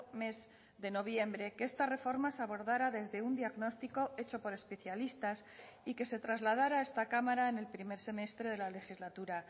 mes de noviembre que esta reforma se abordara desde un diagnóstico hecho por especialistas y que se trasladara a esta cámara en el primer semestre de la legislatura